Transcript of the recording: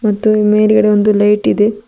ಮತ್ತು ಮೇಲ್ಗಡೆ ಒಂದು ಲೈಟ್ ಇದೆ.